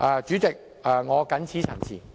主席，我謹此陳辭。